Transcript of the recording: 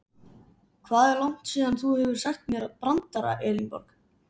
Hvað er langt síðan þú hefur sagt mér brandara Elínborg?